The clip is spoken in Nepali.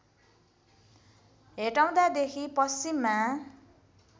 हेटौडा देखि पश्चिममा